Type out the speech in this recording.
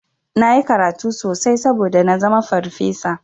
Nayi karatu sosai saboda nazama farfesa.